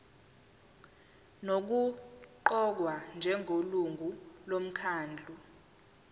nokuqokwa njengelungu lomkhandlu